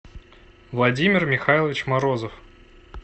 владимир михайлович морозов